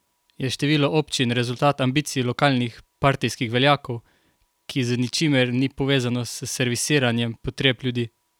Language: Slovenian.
Je število občin rezultat ambicij lokalnih partijskih veljakov, ki z ničimer ni povezano s servisiranjem potreb ljudi?